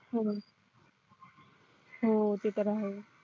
हम्म हो ते तर आहेच